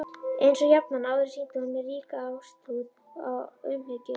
Einsog jafnan áður sýndi hún mér ríka ástúð og umhyggju.